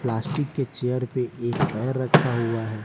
Plastic के chair पे एक पैर रखा हुआ है।